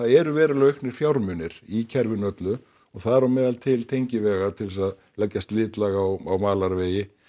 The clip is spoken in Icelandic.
eru verulega auknir fjármunir í kerfinu öllu og þar á meðal til tengivega til þess að leggja slitlag á malarvegi